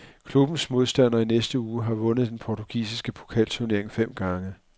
Klubbens modstander i næste uge har vundet den portugisiske pokalturnering fem gange.